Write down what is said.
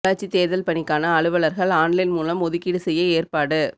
உள்ளாட்சி தேர்தல் பணிக்கான அலுவலர்கள் ஆன்லைன் மூலம் ஒதுக்கீடு செய்ய ஏற்பாடு